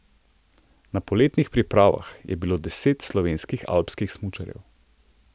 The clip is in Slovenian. Na poletnih pripravah je bilo deset slovenskih alpskih smučarjev.